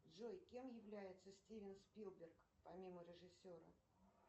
джой кем является стивен спилберг помимо режиссера